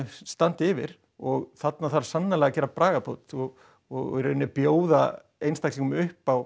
standa yfir og þarna þarf sannarlega að gera bragabót og og í rauninni bjóða einstaklingum upp á